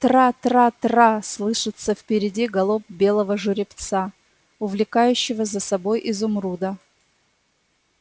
трра-трра-трра слышится впереди галоп белого жеребца увлекающего за собой изумруда